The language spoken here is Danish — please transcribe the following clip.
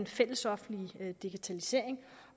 fællesoffentlige digitalisering